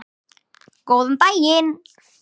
Góðan daginn!